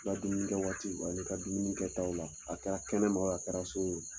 I ka dumuni kɛ waati ani i ka dumuni kɛ taw la . A kɛra kɛnɛma a kɛra so ye wo